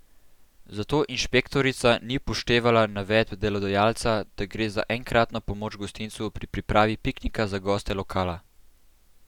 Zato inšpektorica ni upoštevala navedb delodajalca, da gre za enkratno pomoč gostincu pri pripravi piknika za goste lokala.